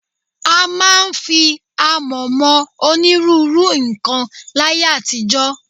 A máa ń fi àmọ̀ mọ onírúurú nǹkan láyé àtijọ́